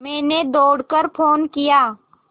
मैंने दौड़ कर फ़ोन किया